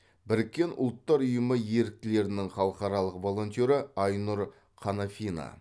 біріккен ұлттар ұйымы еріктілерінің халықаралық волонтері айнұр қанафина